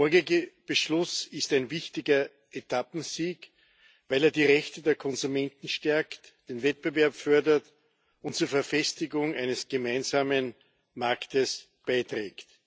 Der morgige Beschluss ist ein wichtiger Etappensieg, weil er die Rechte der Konsumenten stärkt, den Wettbewerb fördert und zur Verfestigung eines gemeinsamen Marktes beiträgt.